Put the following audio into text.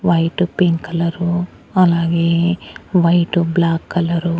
white pink colour అలాగే white black colour --